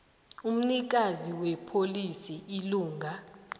umnikazi wepholisi ilunga